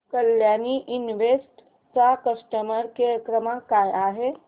Kalyani invest चा customer care क्रमांक काय आहे